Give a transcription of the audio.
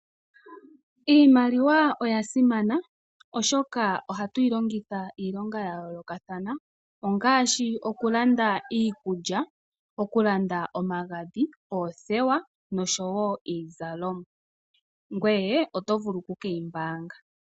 Iimaliwa oya simana oshoka ohatu yi longitha iilonga ya yoolokathana, ngaashi okulanda iikulya, omagadhi, oothewa nosho wo iizalomwa. Ngoye oto vulu okukeyi mbaanga.